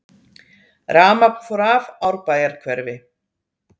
Rafmagn fór af Árbæjarhverfi